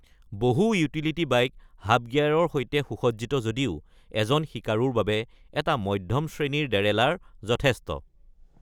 বহু utility bike hub গিয়াৰৰ সৈতে সুসজ্জিত যদিও এজন শিকাৰুৰ বাবে এটা মধ্যম শ্ৰেণীৰ ডেৰেলাৰ যথেষ্ট।